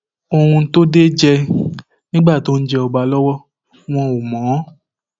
ohun tó dé jẹ nígbà tó ń jẹ ọba lọwọ wọn ò mọ ọn